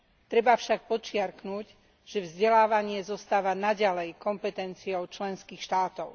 Treba však podčiarknuť, že vzdelávanie zostáva naďalej kompetenciou členských štátov.